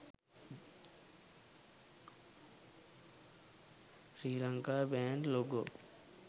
srilanka bank logo